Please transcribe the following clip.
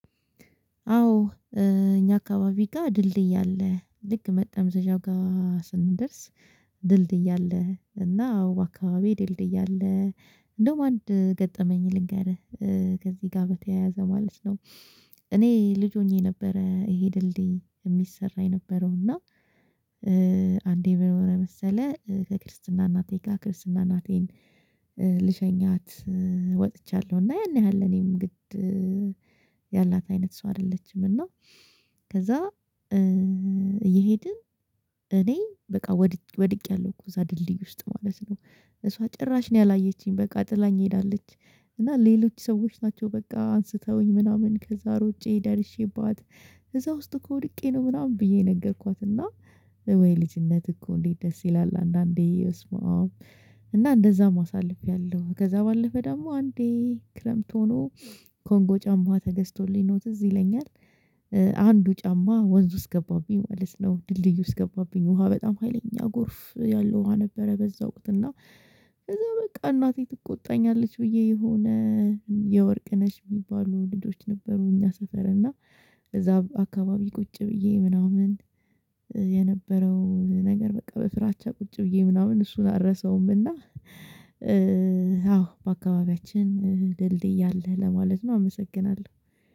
አዎ እኛ አካባቢ ጋር ድልድይ አለ ልክ መጠምዘዣው ጋር ስንደርስ አለ እና አዎ አካባቢ ድልድይ አለ። እንዴውም አንድ ገጠመኝ ልንገርህ ከዚህ ጋር በተያያዘ ማለት ነው እኔ ልጅ ሆኜ ነበረ ይሄ ድልድይ የሚሰራ የነበረው እና አንዴ ምን መሰለህ ከክርስትና እናቴ ጋር ክርስትና እናቴን ልሸኛት ወጥቻለሁ እና ያን ያህል እኔም ግድ ያላት አይነት ሰው አይደለችም እና ከዛ እየሄድን እኔ በቃ ወድቄያለሁ እኮ እዛ ድልድይ ውስጥ ማለት ነው እሷ ጭራሽ ነው ያላየችኝ በቃ ጥላኝ ትሄዳለች እና ሌሎች ሰዎች ናቸው በቃ አንስተውኝ ምናምን ከዛ ሮጬ ደርሼባት እዛ ውስጥ ወድቄ ነው ምናምን ብዬ ነገርኳት እና ወይ ልጅነት እኮ እንዴት ደስ ይላል አንዳንዴ በስማም እና እንደዛም አሳልፌያለሁ። ከዛ ባለፈ ደግሞ አንዴ ክረምት ሆኖ ኮንጎ ጫማ ተገዝቶልኝ ነው ትዝ ይለኛል አንዱ ጫማ ወንዝ ውስጥ ገባብኝ ማለት ነው ድልድዩ ውስጥ ገባብኝ ውሃ በጣም ሀይለኛ ጎርፍ ያለው ውሃ ነበረ በዛ ወቅት እና ከዛ በቃ እናቴ ትቆጣኛለች ብዬ የሆነ የወርቅ ነሽ የሚባሉ ልጆች ነበሩ እኛ ሰፈር እና እዛ አካባቢ ቁጭ ብዬ ምናምን የነበረውን ነገር በቃ በፍራቻ ቁጭ ብዬ ምናምን እሱን አልረሳውም እና በአካባቢያችን ድልድይ አለ ለማለት ነው አመሰግናለሁ።